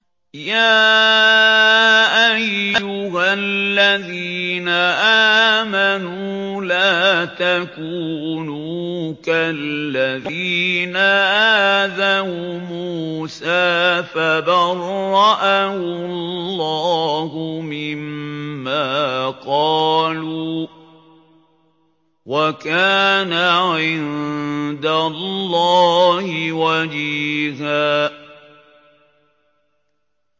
يَا أَيُّهَا الَّذِينَ آمَنُوا لَا تَكُونُوا كَالَّذِينَ آذَوْا مُوسَىٰ فَبَرَّأَهُ اللَّهُ مِمَّا قَالُوا ۚ وَكَانَ عِندَ اللَّهِ وَجِيهًا